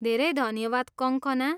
धेरै धन्यवाद कङ्कना!